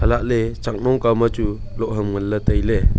chatley chaknong kawma chu loh ham nganla tailey.